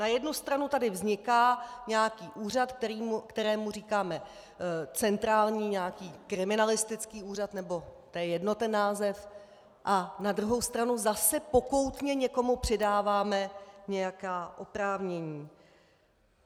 Na jednu stranu tady vzniká nějaký úřad, kterému říkáme centrální, nějaký kriminalistický úřad - nebo to je jedno, ten název - a na druhou stranu zase pokoutně někomu přidáváme nějaká oprávnění.